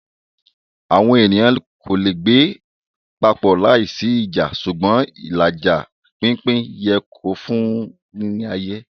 Awọn eniyan ko le gbe papọ laisi ija ṣugbọn ilaja/pinpin yẹ ki o fun ni aye.